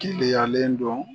Kileyalen dɔn